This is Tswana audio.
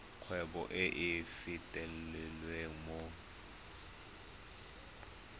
kgwebo e e fitlhelwang mo